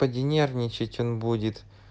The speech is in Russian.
поди нервничать он будет